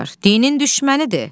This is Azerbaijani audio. Dinin düşmənidir.